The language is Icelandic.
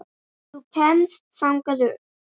Þú kemst þangað upp.